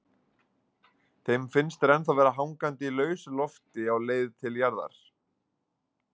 Þeim finnst þeir ennþá vera hangandi í lausu lofti á leið til jarðar.